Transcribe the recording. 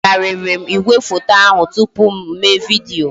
E bugharịrị m igwefoto ahụ tụpụ m mewe vidiyo